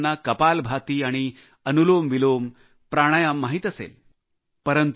बऱ्याच लोकांना कपालभाती आणि अनुलोमविलोम प्राणायाम माहित असेल